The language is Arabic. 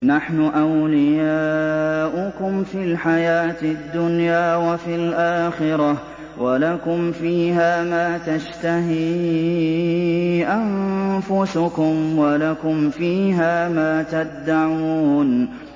نَحْنُ أَوْلِيَاؤُكُمْ فِي الْحَيَاةِ الدُّنْيَا وَفِي الْآخِرَةِ ۖ وَلَكُمْ فِيهَا مَا تَشْتَهِي أَنفُسُكُمْ وَلَكُمْ فِيهَا مَا تَدَّعُونَ